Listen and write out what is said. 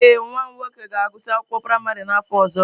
Ee, nwa m nwoke ga-agụsị akwụkwọ praịmarị n'afọ ọzọ.